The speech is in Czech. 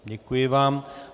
Děkuji vám.